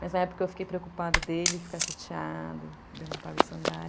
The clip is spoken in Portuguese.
Mas na época eu fiquei preocupada dele ficar chateado de eu não